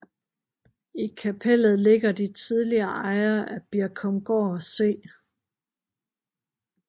I kapellet ligger de tidligere ejere af Birkumgård C